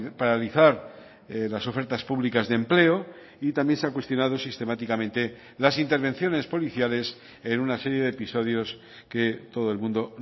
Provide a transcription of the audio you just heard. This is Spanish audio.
paralizar las ofertas públicas de empleo y también se ha cuestionado sistemáticamente las intervenciones policiales en una serie de episodios que todo el mundo